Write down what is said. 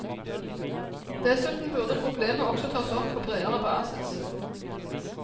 Dessuten burde problemet også tas opp på bredere basis.